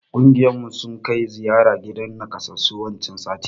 Ƙungiyar mu sun kai ziyara gidan nakassasu wancan satin.